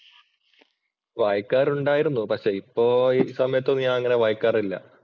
വായിക്കാറുണ്ടായിരുന്നു. പക്ഷേ ഇപ്പോൾ ഈ സമയത്ത് ഒന്നും ഞാൻ അങ്ങനെ വായിക്കാറില്ല